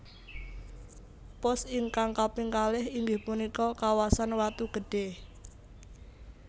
Pos ingkang kaping kalih inggih punika kawasan Watu Gede